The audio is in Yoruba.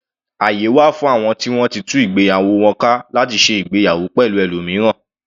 Àyè wà fún àwọn ti wọ́n ti tú ìgbéyàwó wọn ka láti ṣe ìgbéyàwó pẹ̀lú ẹlòmíràn.